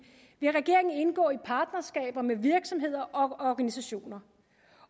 vil regeringen indgå i partnerskaber med virksomheder og organisationer